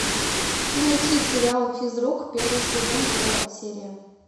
найти сериал физрук первый сезон первая серия